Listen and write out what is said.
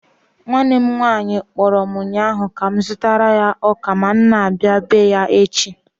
Nwanne m nwanyị kpọrọ m ụnyaahụ ka m zụtara ya ọka ma m na-abia bee ya echi.